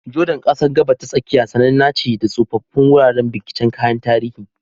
Jordan, ƙasar Gabas ta Tsakiya, sananna ce da tsoffin wuraren binciken kayan tarihi.